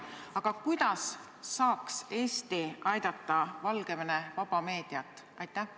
Aga kuidas saaks Eesti aidata Valgevene vaba meediat?